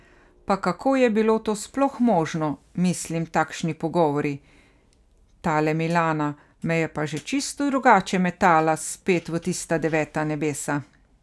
Pa kako je bilo to sploh možno, mislim takšni pogovori, tale Milana me je pa že čisto drugače metala spet v tista deveta nebesa.